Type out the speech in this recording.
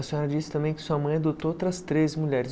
A senhora disse também que sua mãe adotou outras três mulheres.